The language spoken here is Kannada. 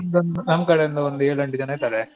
ನಮ್ದೊಂದ್ ನಮ್ ಕಡೆಯಿಂದ ಒಂದೇಳೆಂಟ್ ಜನ ಇದಾರೆ.